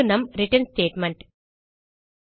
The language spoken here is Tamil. இது நம் ரிட்டர்ன் ஸ்டேட்மெண்ட்